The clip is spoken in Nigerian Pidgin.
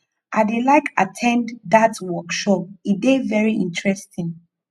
i dey like at ten d dat workshop e dey very interesting